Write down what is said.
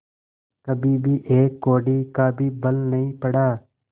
कभी एक कौड़ी का भी बल नहीं पड़ा